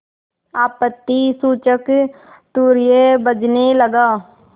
आपत्तिसूचक तूर्य बजने लगा